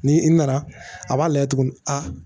Ni i nana a b'a layɛ tuguni a